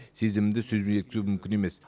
сезімімді сөзбен жеткізу мүмкін емес